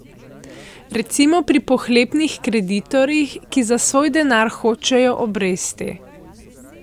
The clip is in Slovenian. Recimo pri pohlepnih kreditorjih, ki za svoj denar hočejo obresti.